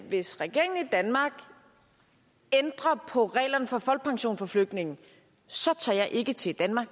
hvis regeringen i danmark ændrer på reglerne for folkepension for flygtninge så tager jeg ikke til danmark